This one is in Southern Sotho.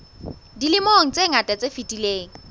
dilemong tse ngata tse fetileng